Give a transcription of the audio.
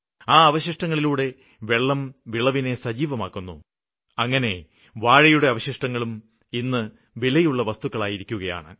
ആ അവശിഷ്ടങ്ങളിലുള്ള വെള്ളം വിളവിനെ സജീവമാക്കുന്നു അങ്ങനെ വാഴയുടെ അവശിഷ്ടങ്ങളും ഇന്ന് വിലയുള്ള വസ്തുക്കളായിരിക്കുകയാണ്